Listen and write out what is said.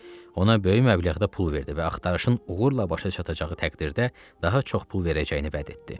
Ona böyük məbləğdə pul verdi və axtarışın uğurla başa çatacağı təqdirdə daha çox pul verəcəyini vəd etdi.